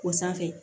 O sanfɛ